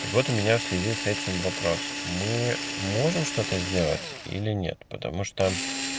так вот у меня в связи с этим вопросом мы можем что-то сделать или нет потому что